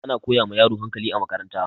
Ana koya ma yaro hakali a makaranta